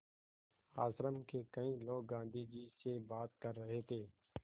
आश्रम के कई लोग गाँधी जी से बात कर रहे थे